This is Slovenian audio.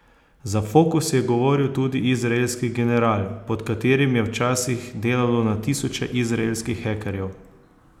Za Fokus je govoril tudi izraelski general, pod katerim je včasih delalo na tisoče izraelskih hekerjev.